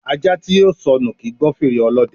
Ajá tí yóò sọnù kì í gbọ́ fèrè Ọlọ́dẹ